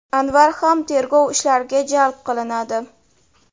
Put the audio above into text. Anvar ham tergov ishlariga jalb qilinadi.